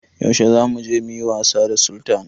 Yaushe zamu je muyi wasa da Sultan?